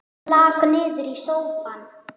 Lak niður í sófann.